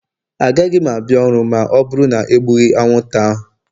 Agaghị m abịa ọrụ ma ọ bụrụ na e egbughị anwụnta ahụ.